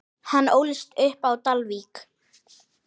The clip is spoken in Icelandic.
Hann ólst upp á Dalvík.